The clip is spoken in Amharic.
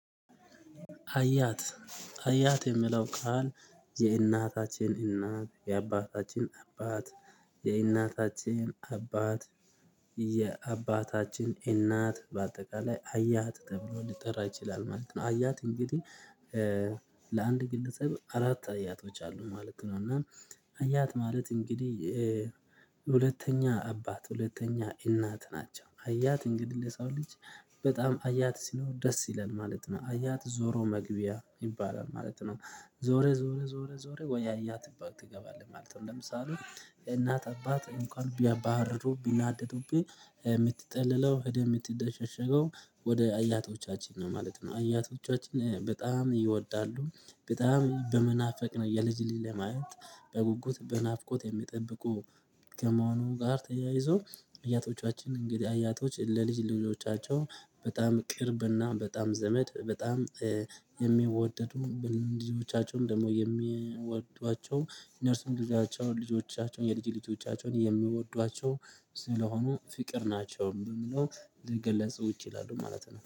አያት የሚለው ቃል የእናታችን እናት የአባታችን አባት የእናታችን አባት የአባታችን እናት በአጠቃላይ አያት ተብሎ ሊጠራ ይችላል ማለት ነው። አያት እንግዲህ ለአንድ ግለሰብ አራት አያቶች አሉ ማለት ነው። እና አያት ማለት እንግዲህ ሁለተኛ አባት ሁለተኛ እናት ናቸው። አያት እንግዲህ ለሰው ልጅ በጣም አያት ሲኖር ደስ ይላል ማለት ነው። አያት ዞሮ መግቢያ ይባላል ማለት ነው። ዞረህ ዞረህ ዞረህ ወይ አያት ጥበብ ትገባለህ ማለት ነው። ለምሳሌ እናት አባት እንኳን ቢያባርሩ ቢናደዱብኝ የምትጥልለው ሄደህ የምትደሸሸገው ወደ አያቶቻችን ነው ማለት ነው። አያቶቻችን በጣም ይወዳሉ በጣም በመናፈቅ ነው የልጅ ልጅ ለማየት በጉጉት በናፍቆት የሚጠብቁ ከመሆኑ ጋር ተያይዞ። እያቶቻችን እንግዲህ እያቶች ለልጅ ልጆቻቸው በጣም ቅርብና በጣም ዘመድ በጣም የሚወደዱ። ልጆቻቸውም ደግሞ የሚወዷቸው እነርሱም ልጆቻቸውን የልጅ ልጆቻቸውን የምወዷቸው ስለሆኑ ፍቅር ናቸው በምለው ልገለጹ ይችላሉ ማለት ነው